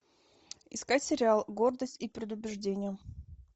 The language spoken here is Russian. искать сериал гордость и предубеждение